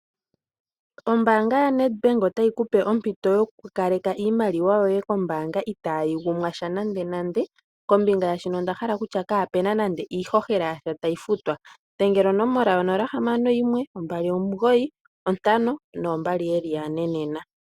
Ombaanga ya Nedbank otayi kupe ompinto yo kukaleka iimaliwa yoye kombaanga itaayi gumwashwa nande nande. Kombinga yaashono onda hala okutya kaa puna nande iihohela yasha tayi futwa. Dhengela onomola 0612952222 nena.